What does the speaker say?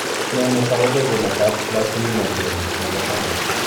Nee netau bekunetab plasminogen nebo tai